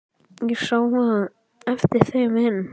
Ég sá á eftir þeim inn.